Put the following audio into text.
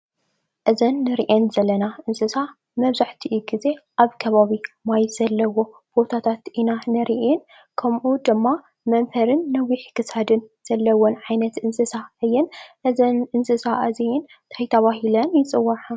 እዘን ንሪአን ዘለና እንስሳ መብዛሕቲኡ ግዘ አብ ከባቢ ማይ ዘለዎ ቦታታት ኢና እንሪአን ከምኡ ድማ መምሀርን ነዊሕ ክሳድ ዘለዎን ዓይነት እንስሳ እየን። እዘን እንስሳ እዚአን ታይ ተባሂለን ይፅዋዓ?